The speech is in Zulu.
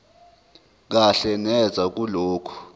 kahle neze kulokho